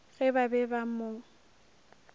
ge ba be ba mo